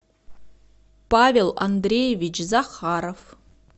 павел андреевич захаров